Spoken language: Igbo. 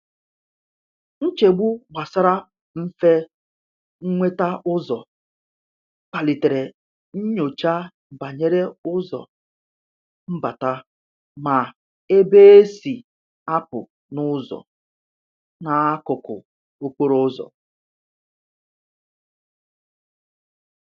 Nchegbu gbasara mfe nweta ụzọ kpalitere nnyocha banyere ụzọ mbata ma ebe e si a pụ na ụzọ n'akụkụ okporo ụzọ.